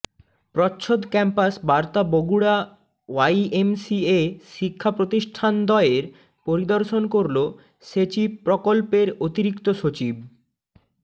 প্রচ্ছদ ক্যাম্পাস বার্তা বগুড়া ওয়াইএমসিএ শিক্ষা প্রতিষ্ঠানদ্বয় পরিদর্শন করল সেচিপ প্রকল্পের অতিরিক্ত সচিব